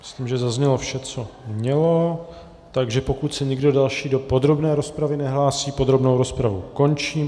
Myslím, že zaznělo vše, co mělo, takže pokud se nikdo další do podrobné rozpravy nehlásí, podrobnou rozpravu končím.